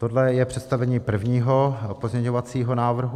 Tohle je představení prvního pozměňovacího návrhu.